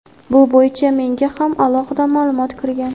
Bu bo‘yicha menga ham alohida ma’lumot kirgan.